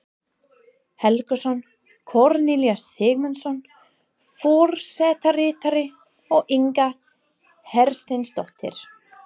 Helgason, Kornelíus Sigmundsson forsetaritari og Inga Hersteinsdóttir